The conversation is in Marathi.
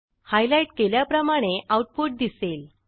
हायलाईट केल्याप्रमाणे आऊटपुट दिसेल